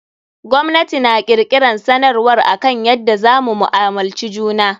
Gwamnati na kirkiran sanarwar akan yadda za mu mu'amulci juna.